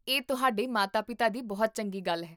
ਇਹ ਤੁਹਾਡੇ ਮਾਤਾ ਪਿਤਾ ਦੀ ਬਹੁਤ ਚੰਗੀ ਗੱਲ ਹੈ